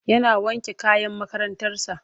Yana wanke kayan makarantarsa.